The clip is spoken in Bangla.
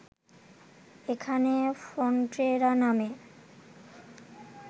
এখানে ফন্টেরা নামে